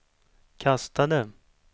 kastade